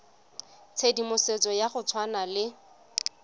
tshedimosetso ya go tshwana le